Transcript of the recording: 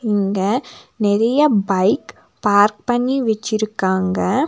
இங்க நெறைய bike park பண்ணி வச்சிருக்காங்க.